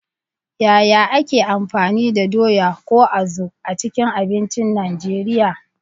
Yaya ake amfani da doya, ko azu, a cikin abincin Najeriya?